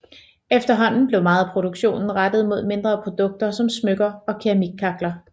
Efterhånden blev meget af produktionen rettet mod mindre produkter som smykker og keramikkakler